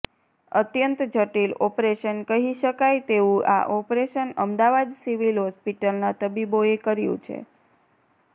અત્યંત જટિલ ઓપરેશન કહી શકાય તેવું આ ઓપરેશન અમદાવાદ સિવિલ હોસ્પિટલના તબીબોએ કર્યું છે